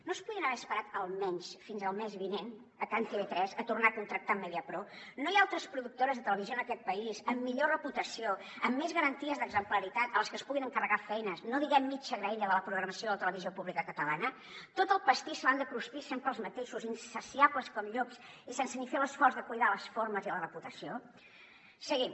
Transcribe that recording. no es podien haver esperat almenys fins al mes vinent a can tv3 a tornar a contractar amb mediapro no hi ha altres productores de televisió en aquest país amb millor reputació amb més garanties d’exemplaritat a les que es puguin encarregar feines no diguem mitja graella de la programació de la televisió pública catalana tot el pastís se l’han de cruspir sempre els mateixos insaciables com llops i sense ni fer l’esforç de cuidar les formes i la reputació seguim